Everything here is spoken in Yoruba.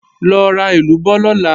Lọ ra èlúbọ́ lọ̀la!